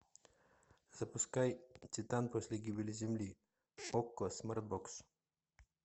запускай титан после гибели земли окко смартбокс